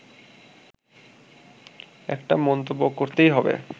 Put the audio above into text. একটা মন্তব্য করতেই হবে